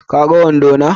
Ka gan wando na?